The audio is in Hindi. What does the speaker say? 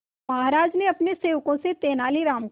महाराज ने अपने सेवकों से तेनालीराम को